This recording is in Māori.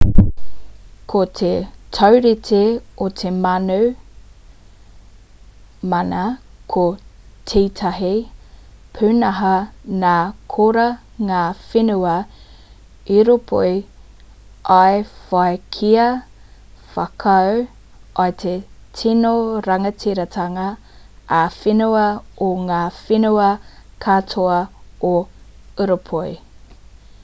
ko te taurite o te mana ko tētahi pūnaha nā korā ngā whenua ūropi i whai kia whakaū i te tino rangatiratanga ā-whenua o ngā whenua katoa o ūropi